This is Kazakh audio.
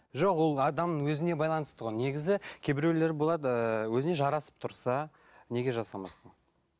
жоқ ол адамның өзіне байланысты ғой негізі кейбіреулер болады ыыы өзіне жарасып тұрса неге жасамасқа